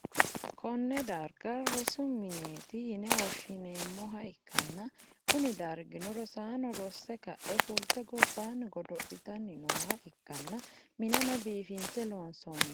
konne darga rosu mineeti yine woshhsineemmoha ikkanna, kuni dargino rosanno rosse ka'e fulte gobbaanni godo'litanni nooha ikkanna, mineno biifinse loonsoonniho.